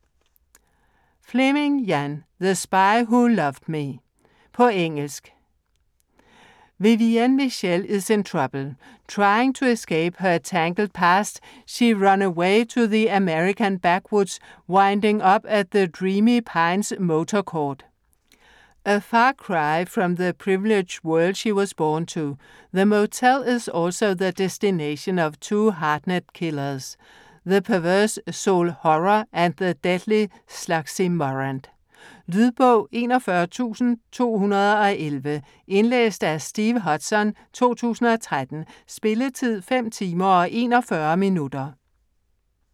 Fleming, Ian: The spy who loved me På engelsk. Vivienne Michel is in trouble. Trying to escape her tangled past, she has run away to the American backwoods, winding up at the Dreamy Pines Motor Court. A far cry from the privileged world she was born to, the motel is also the destination of two hardened killers - the perverse Sol Horror and the deadly Sluggsy Morant. Lydbog 41211 Indlæst af Steve Hodson, 2013. Spilletid: 5 timer, 41 minutter.